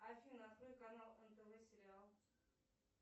афина открой канал нтв сериал